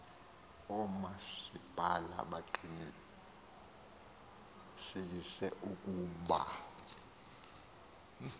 oomasipala baqinisekise ukuba